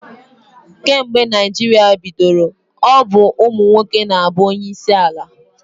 Kemgbe Naịjirịa bidoro, ọ bụ ụmụ nwoke na-abụ onyeisi ala.